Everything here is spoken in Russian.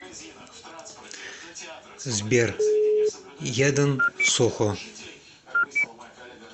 сбер яден сохо